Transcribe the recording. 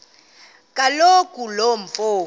kaloku lo mfo